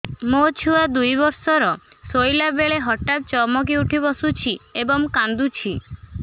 ମୋ ଛୁଆ ଦୁଇ ବର୍ଷର ଶୋଇଲା ବେଳେ ହଠାତ୍ ଚମକି ଉଠି ବସୁଛି ଏବଂ କାଂଦୁଛି